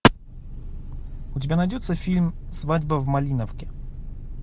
у тебя найдется фильм свадьба в малиновке